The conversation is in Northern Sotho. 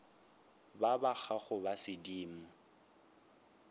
ba ba gago ba sedimo